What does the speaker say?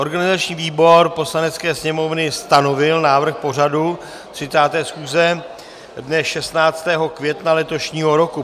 Organizační výbor Poslanecké sněmovny stanovil návrh pořadu 30. schůze dne 16. května letošního roku.